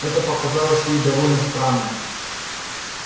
это показалось ей довольно странно